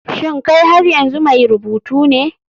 Shin kai har yanzu mai rubutu ne?